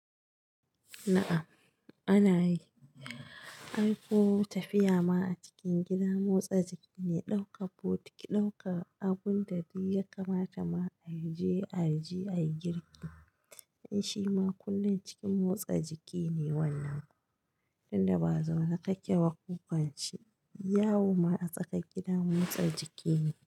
Na'am ana yi, aiko tafiya ma a cikin gida motsa jiki ne, ɗaukar bokiti, ɗaukar abun da duk ya kamata ma a je a ji a yi girki. Shi ma kullum cikin motsa jiki ne wannan, inda ba zaune kake ba jo kwance. Yawo ma a tsakar gida motsa jiki ne.